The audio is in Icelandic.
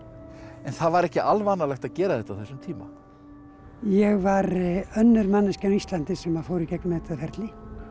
en það var ekki alvanalegt að gera þetta á þessum tíma ég var önnur manneskjan á Íslandi sem fór í gegnum þetta ferli